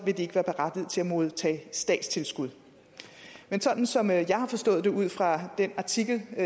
vil de ikke være berettiget til at modtage statstilskud men sådan som jeg har forstået det ud fra den artikel i